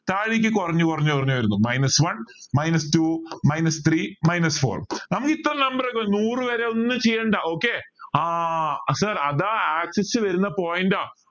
താഴേക്ക് കുറഞ്ഞ കുറഞ്ഞു കുറഞ്ഞുവരുന്നു minus one minus two minus three minus four നമുക്ക് എത്ര നൂറു വരെ ഒന്നും ചെയ്യേണ്ട okay ആഹ് sir അതാ ആശിച്ചു വരുന്ന point